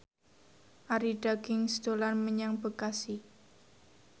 Arie Daginks dolan menyang Bekasi